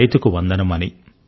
రైతుకు వందనం అని